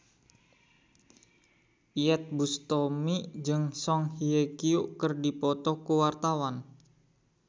Iyeth Bustami jeung Song Hye Kyo keur dipoto ku wartawan